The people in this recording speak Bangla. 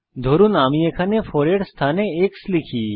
ধরুন আমি এখানে 4 এর স্থানে x লিখি